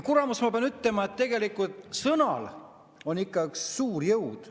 Kuramus, ma pean ütlema, et tegelikult sõnal on ikka suur jõud.